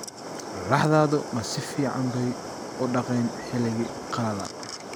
laxdaadu ma si fiican bay u daaqeen xilliga qalalan